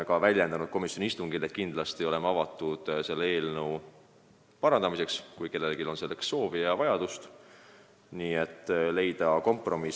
Ma ütlesin komisjoni istungil ka seda, et me oleme kindlasti avatud arutama selle eelnõu parandamist, kui kellelgi on soovi leida mingi kompromiss.